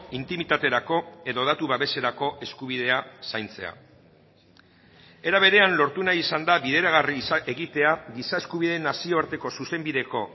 intimitaterako edo datu babeserako eskubidea zaintzea era berean lortu nahi izan da bideragarri egitea giza eskubideen nazioarteko zuzenbideko